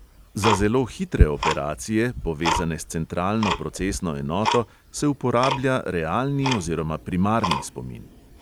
Za zelo hitre operacije, povezane s centralno procesno enoto, se uporablja realni oziroma primarni spomin.